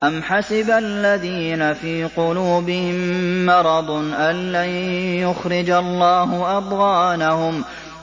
أَمْ حَسِبَ الَّذِينَ فِي قُلُوبِهِم مَّرَضٌ أَن لَّن يُخْرِجَ اللَّهُ أَضْغَانَهُمْ